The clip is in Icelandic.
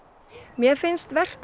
mér finnst vert að